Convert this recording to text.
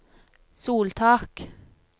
soltak